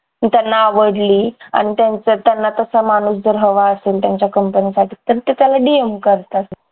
त्यांना आवडली आणि त्यांचं त्यांना तसं माणूस जर हवा असेल त्यांच्या कंपनी साठी तर ते त्याला DM करतात